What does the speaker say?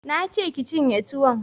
Na ce ki cinye tuwon!